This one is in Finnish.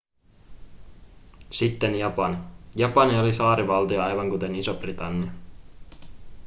sitten japani japani oli saarivaltio aivan kuten iso-britannia